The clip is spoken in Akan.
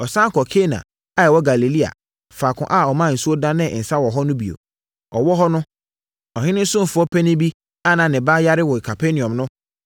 Ɔsane kɔɔ Kana a ɛwɔ Galilea, faako a ɔmaa nsuo danee nsã hɔ no bio. Ɔwɔ hɔ no, ɔhene ɔsomfoɔ panin bi a na ne ba yare wɔ Kapernaum no